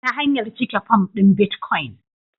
Ta hanyar cike fom ɗin bitcoin